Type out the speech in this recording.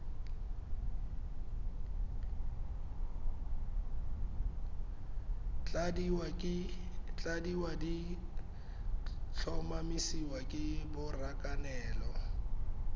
tladiwa di tlhomamisiwa ke borakanelo